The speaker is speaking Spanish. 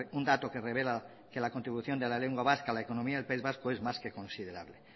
un dato que rebela que la contribución de la lengua vasca a la economía del país vasco es más que considerable